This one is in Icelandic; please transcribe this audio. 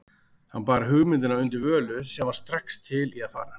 Hann bar hugmyndina undir Völu, sem var strax til í að fara.